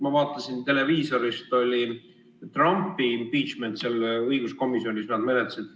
Ma vaatasin televiisorist, kui nad Trumpi impeachment'i seal õiguskomisjonis menetlesid.